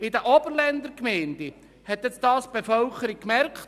In den Oberländer Gemeinden hat es die Bevölkerung gemerkt.